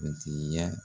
Kuntigiya